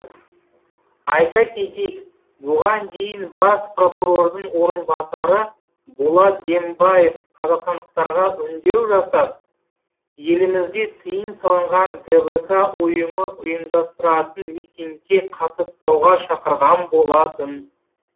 айта кетейік бұған дейін бас прокурордың орынбасары болат дембаев қазақстандықтарға үндеу жасап елімізде тыйым салынған двк ұйымы ұйымдастыратын митингке қатыспауға шақырған болатын